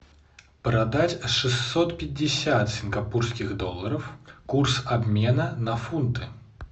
продать шестьсот пятьдесят сингапурских долларов курс обмена на фунты